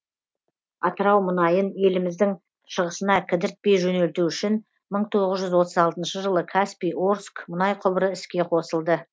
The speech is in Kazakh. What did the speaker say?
атырау мұнайын еліміздің шығысына кідіртпей жөнелту үшін мың тоғыз жүз отыз алтыншы жылы каспий орск мұнай құбыры іске қосылды